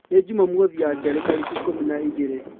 nĩ jũmamothĩ ya kerĩ tarĩkĩ ĩkũmĩ na ĩgĩrĩ